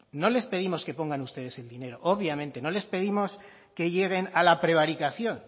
no les pedimos que pongan ustedes el dinero obviamente no les pedimos que lleguen a la prevaricación